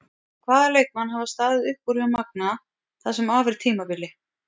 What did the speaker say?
Hvaða leikmenn hafa staðið upp úr hjá Magna það sem af er tímabili?